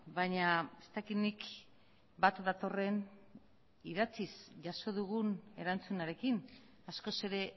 baina ez dakit nik bat datorren idatziz jaso dugun erantzunarekin askoz ere